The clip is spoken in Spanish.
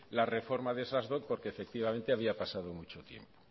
la reforma de esas dot porque había pasado mucho tiempo